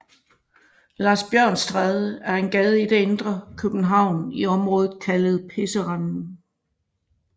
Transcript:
Larsbjørnsstræde er en gade i det indre København i området kaldet Pisserenden